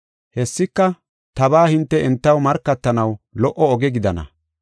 Hessika tabaa hinte entaw markatanaw lo77o oge gidana.